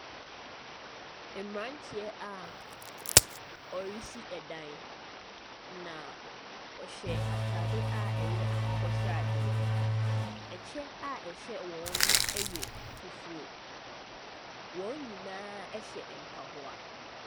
Mmeranteɛ a wɔresi dan, na wɔhyɛ atade a ɛyɛ akokɔ sradeɛ. Ɛkyɛ a ɛhyɛ wɔn no yɛ fufuo. Wɔn nyinaa hyɛ mpaboa.